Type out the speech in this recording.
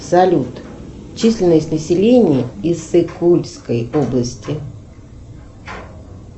салют численность населения иссык кульской области